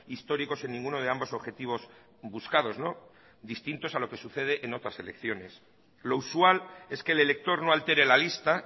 históricos en ninguno de ambos objetivos buscados distintos a lo que sucede en otras elecciones lo usual es que el elector no altere la lista